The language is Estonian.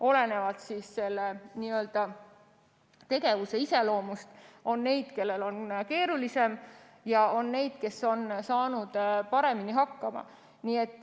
Olenevalt tegevuse iseloomust on neid, kellel on keerulisem, ja on neid, kes on saanud paremini hakkama.